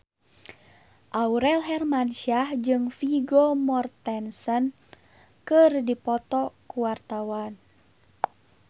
Aurel Hermansyah jeung Vigo Mortensen keur dipoto ku wartawan